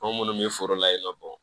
Ko munnu bɛ foro la yen nɔ